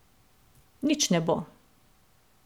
Nič ne bo.